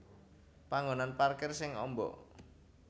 Panggonan parkir sing amba